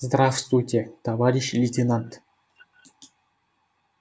здравствуйте товарищ лейтенант